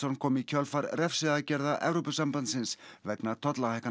kom í kjölfar refsiaðgerða Evrópusambandsins vegna tollahækkana